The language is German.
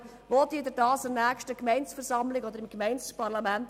Wie begründen Sie dies vor der Gemeindeversammlung oder vor dem Gemeindeparlament?